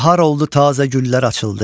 Bahar oldu tazə güllər açıldı.